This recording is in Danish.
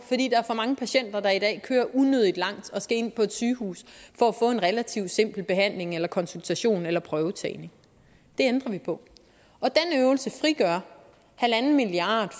er for mange patienter der i dag kører unødig langt og skal ind på et sygehus for at få en relativt simpel behandling eller konsultation eller prøvetagning det ændrer vi på og den øvelse frigør en milliard